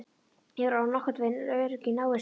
Ég var orðin nokkurnveginn örugg í návist hans.